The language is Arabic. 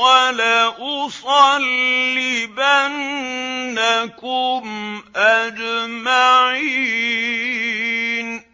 وَلَأُصَلِّبَنَّكُمْ أَجْمَعِينَ